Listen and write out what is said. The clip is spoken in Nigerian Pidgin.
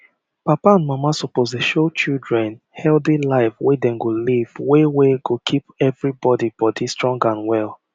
papa and mama suppose dey show children healthy life wey dem go live wey wey go keep everybody body strong and well